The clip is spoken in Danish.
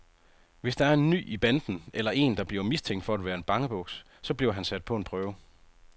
Hvis der er en ny i banden, eller en der bliver mistænkt for at være bangebuks, så bliver han sat på en prøve.